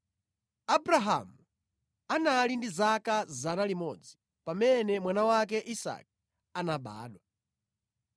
Abrahamu anali ndi 100 pamene mwana wake Isake anabadwa.